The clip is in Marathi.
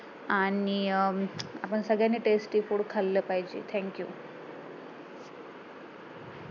आणि अं आपण सगळ्यांनी tasty food खाल्लं पाहिजे Thank you